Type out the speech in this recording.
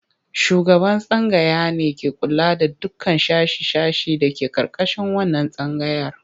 Shugaban tsangaya ne take kula da dukkan sashe-sashe da ke ƙarƙashin wannan tsangayar.